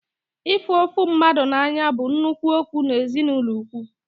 Ịhụ ofu mmadụ n'anya bụ nnukwu okwu n'ezinụlọ ukwu